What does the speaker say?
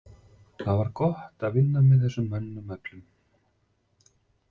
Það var gott að vinna með þessum mönnum öllum.